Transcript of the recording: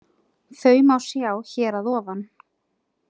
Þau má sjá hér að ofan.